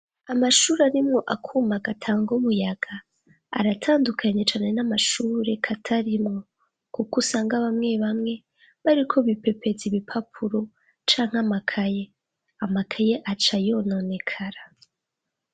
Amashure akuma gatanga umuyaga aratandukanye cane namashure katarimwo, kuko usanga bamwe bamwe bariko bipepeza ibipapuro canke amakaye. Amakaye agaca yononekara.